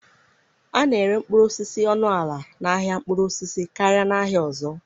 A na-ere mkpụrụ osisi ọnụ ala n'ahịa mkpụrụ osisi karịa n'ahịa ọzọ.